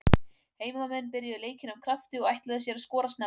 Heimamenn byrjuðu leikinn af krafti og ætluðu sér að skora snemma.